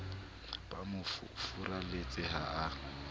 ba mo furalletseng ha a